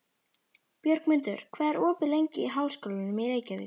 Björgmundur, hvað er opið lengi í Háskólanum í Reykjavík?